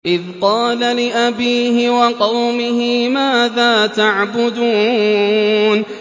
إِذْ قَالَ لِأَبِيهِ وَقَوْمِهِ مَاذَا تَعْبُدُونَ